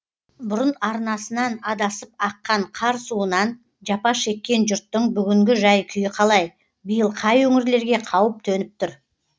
бұрын арнасынан адасып аққан қар суынан жапа шеккен жұрттың бүгінгі жәй күйі қалай биыл қай өңірлерге қауіп төніп тұр